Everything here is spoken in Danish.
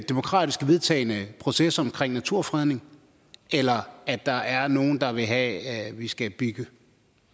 demokratisk vedtagne processer omkring naturfredning eller at der er nogle der vil have at vi skal bygge